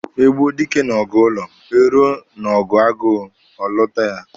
E gbuo dike n'ọgụ ụlọ, eruo n'ọgụ agụụ, ọ lụta ya.